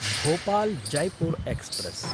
भोपाल्–जयपुर् express